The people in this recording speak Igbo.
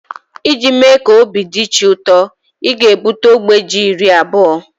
iji mee ka obi dị chi ụtọ, ị ga-ebute ogbe Ji iri abụọ